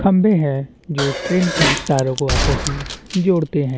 खम्बे हैं जो ट्रेन की तारों को आपस में जोड़ते हैं।